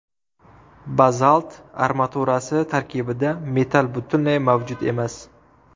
Bazalt armaturasi tarkibida metall butunlay mavjud emas.